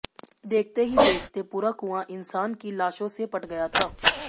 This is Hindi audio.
देखते ही देखते पूरा कुंआ इंसान की लाशों से पट गया था